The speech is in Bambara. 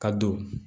Ka don